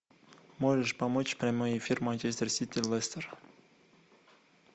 можешь помочь прямой эфир манчестер сити лестер